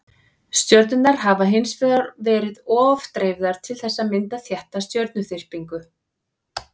stjörnurnar hafa hins vegar verið of dreifðar til þess að mynda þétta stjörnuþyrpingu